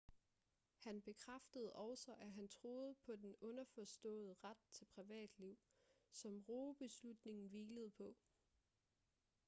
han bekræftede også at han troede på den underforståede ret til privatliv som roe-beslutningen hvilede på